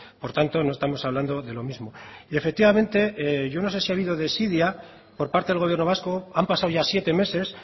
por tanto no estamos hablando de lo mismo y efectivamente yo no sé si ha habido desidia por parte del gobierno vasco han pasado ya siete meses